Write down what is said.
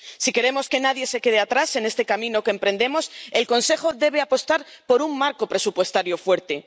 Si queremos que nadie se quede atrás en este camino que emprendemos, el Consejo debe apostar por un marco presupuestario fuerte.